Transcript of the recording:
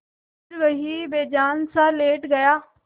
फिर वहीं बेजानसा लेट गया